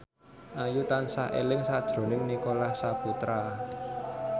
Ayu tansah eling sakjroning Nicholas Saputra